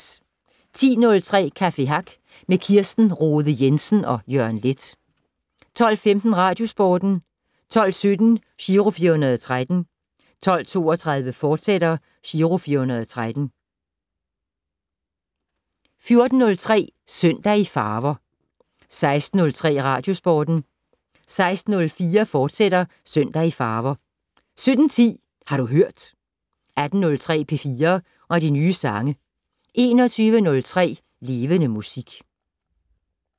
10:03: Café Hack med Kirsten Rohde Jensen og Jørgen Leth 12:15: Radiosporten 12:17: Giro 413 12:32: Giro 413, fortsat 14:03: Søndag i farver 16:03: Radiosporten 16:04: Søndag i farver, fortsat 17:10: Har du hørt 18:03: P4 og de nye sange 21:03: Levende Musik